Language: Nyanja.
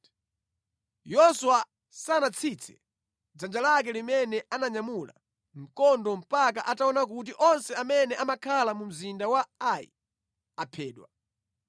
Yoswa sanatsitse dzanja lake limene ananyamula mkondo mpaka ataona kuti onse amene amakhala mu mzinda wa Ai aphedwa.